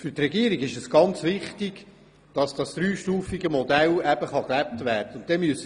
Für die Regierung ist es sehr wichtig, dass das dreistufige Modell gelebt werden kann.